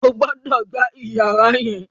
o gbódò gbà iyàrá yén!